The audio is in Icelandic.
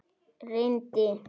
Renndi augunum yfir nöfnin.